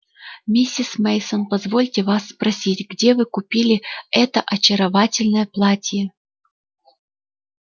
миссис мейсон позвольте вас спросить где вы купили это очаровательное платье